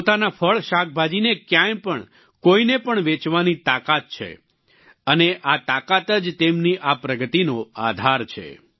પોતાના ફળશાકભાજીને ક્યાંય પણ કોઈને પણ વેચવાની તાકાત છે અને આ તાકાત જ તેમની આ પ્રગતિનો આધાર છે